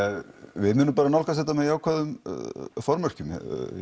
við munum bara nálgast þetta með jákvæðum formerkjum